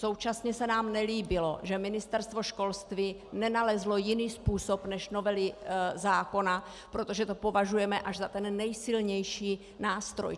Současně se nám nelíbilo, že Ministerstvo školství nenalezlo jiný způsob než novelu zákona, protože to považujeme až za ten nejsilnější nástroj.